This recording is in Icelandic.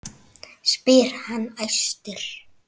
spyr hann æstur.